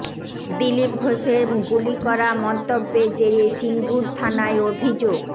দিলীপ ঘোষের গুলি করা মন্তব্যের জেরে সিঙ্গুর থানায় অভিযোগ